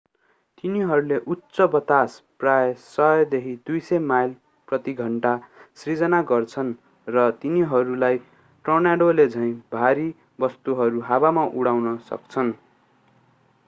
तिनीहरूले उच्च बतास प्रायः 100-200 माइल/घण्टा सिर्जना गर्छन् र तिनीहरूलाई टोर्नाडोले झैँ भारी वस्तुहरू हावामा उठाउन सक्छन्।